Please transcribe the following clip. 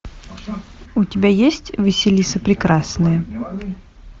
у тебя есть василиса прекрасная